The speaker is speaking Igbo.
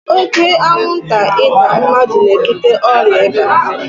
Oke anwụnta ịta mmadụ na-ebute ọrịa ịba.